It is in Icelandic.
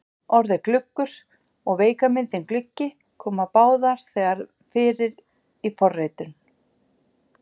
Orðið gluggur og veika myndin gluggi koma báðar þegar fyrir í fornritum.